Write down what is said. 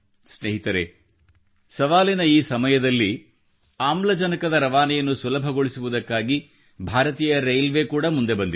ಸ್ನೇಹಿತರೆ ಸವಾಲಿನ ಈ ಸಮಯದಲ್ಲಿ ಆಮ್ಲಜನಕದ ರವಾನೆಯನ್ನು ಸುಲಭಗೊಳಿಸುವುದಕ್ಕಾಗಿ ಭಾರತೀಯ ರೈಲ್ವೇ ಕೂಡಾ ಮುಂದೆ ಬಂದಿದೆ